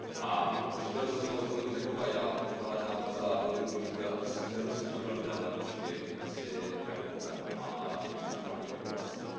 A už tady zaznělo od kolegy Nekova, já pokládám za velmi důležité, aby se nerozevíraly dále nůžky mezi venkovem a těmi centrálními oblastmi.